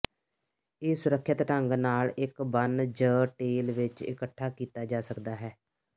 ਇਹ ਸੁਰੱਖਿਅਤ ਢੰਗ ਨਾਲ ਇੱਕ ਬੰਨ ਜ ਟੇਲ ਵਿਚ ਇਕੱਠਾ ਕੀਤਾ ਜਾ ਸਕਦਾ ਹੈ